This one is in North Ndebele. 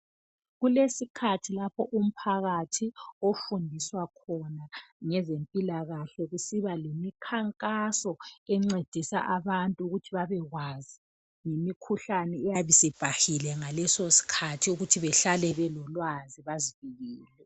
Kulesikhathi lapho umphakathi ofundiswa khona ngezempilakahle, kusiba lemikhankaso encedisa abantu ukuthi babekwazi ngemikhuhlane eyabisi'bhahile ngaleso'skhathi ukuthi behlale belolwazi bazivikele.